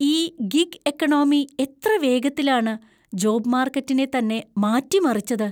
ഈ gig economy എത്ര വേഗത്തിലാണ് ജോബ് മാർക്കറ്റിനെ തന്നെ മാറ്റിമറിച്ചത്.